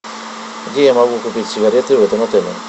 где я могу купить сигареты в этом отеле